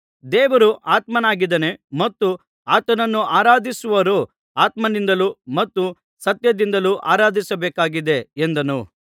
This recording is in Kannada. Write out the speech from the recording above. ದೇವರು ಆತ್ಮನಾಗಿದ್ದಾನೆ ಮತ್ತು ಆತನನ್ನು ಆರಾಧಿಸುವವರು ಆತ್ಮನಿಂದಲೂ ಮತ್ತು ಸತ್ಯದಿಂದಲೂ ಆರಾಧಿಸಬೇಕಾಗಿದೆ ಎಂದನು